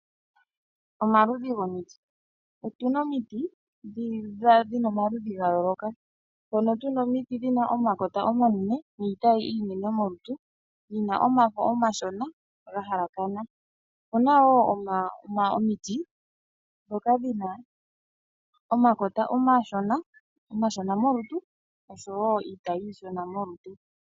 Omaludhi gomiti otuna omiti dhina omaludhi gayooloka mpono tuna omiti dhina omakota omanene niitayi iinene molutu yina omafo omashona gahalakana opuna woo omiti dhoka dhina omakota omashona molutu nosho woo iitayi ishona.